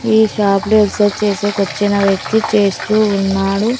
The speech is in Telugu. ఈ షాప్ లో ఎక్సైజ్ చేసేకి వచ్చిన వ్యక్తి చేస్తూ ఉన్నాడు.